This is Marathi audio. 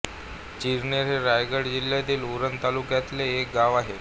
चिरनेर हे रायगड जिल्ह्यतील उरण तालुक्यातले एक गाव आहे